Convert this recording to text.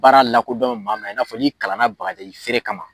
Baara la ko dɔn maa ma , i n'a fɔ ni kalan na bagaji feere kama.